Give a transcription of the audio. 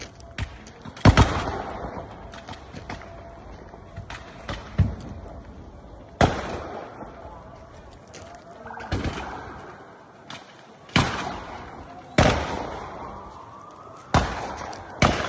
Bir sıra atış səsləri eşidilir.